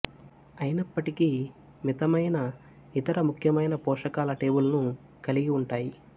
అయినప్పటికీ మితమైన ఇతర ముఖ్యమైన పోషకాల టేబుల్ను కలిగి ఉంటాయి